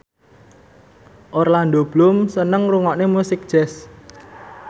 Orlando Bloom seneng ngrungokne musik jazz